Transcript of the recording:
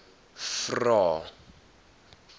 vvvvrae